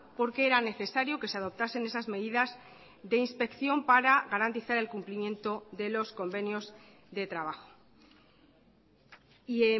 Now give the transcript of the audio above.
porque era necesario que se adoptasen esas medidas de inspección para garantizar el cumplimiento de los convenios de trabajo y